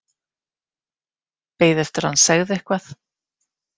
Beið eftir að hann segði eitthvað.